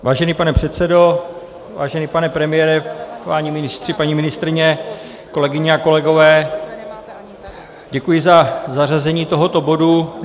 Vážený pane předsedo, vážený pane premiére, páni ministři, paní ministryně, kolegyně a kolegové, děkuji za zařazení tohoto bodu.